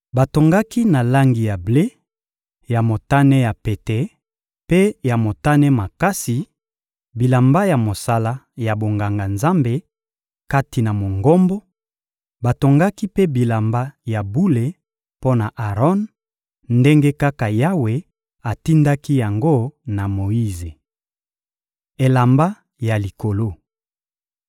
Batongaki na langi ya ble, ya motane ya pete mpe ya motane makasi bilamba ya mosala ya bonganga-Nzambe kati na Mongombo; batongaki mpe bilamba ya bule mpo na Aron, ndenge kaka Yawe atindaki yango na Moyize. Elamba ya likolo